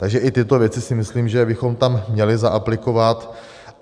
Takže o tyto věci si myslím, že bychom tam měli zaaplikovat.